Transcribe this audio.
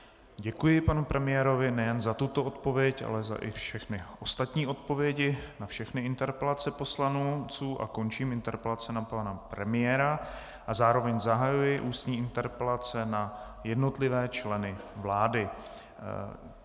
Děkuji panu premiérovi nejen za tuto odpověď, ale i za všechny ostatní odpovědi na všechny interpelace poslanců a končím interpelace na pana premiéra a zároveň zahajuji ústní interpelace na jednotlivé členy vlády.